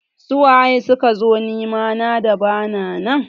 Su waye sukazo nema na da bana nan?